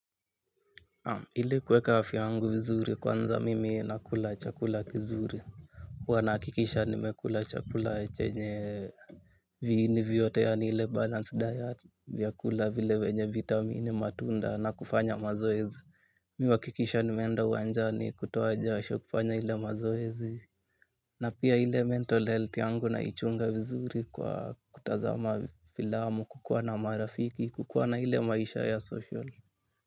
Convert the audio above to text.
Ili kuweka afya yangu vizuri kwanza mimi nakula chakula kizuri huwa nahakikisha nimekula chakula chenye viini vyote yaani ile balanced diet. Vyakula vile vyenye vitamini matunda na kufanya mazoezi. Mi huhakikisha nimeenda uwanjani kutoa jasho kufanya ile mazoezi. Na pia ile mental health yangu naichunga vizuri kwa kutazama filamu kukuwa na marafiki kukuwa na ile maisha ya social.